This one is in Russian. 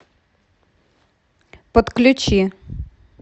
подключи